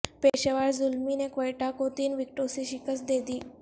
پشاور زلمی نے کوئٹہ کو تین وکٹوں سے شکست دے دی